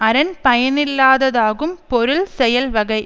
அரண் பயனில்லாததாகும் பொருள் செயல்வகை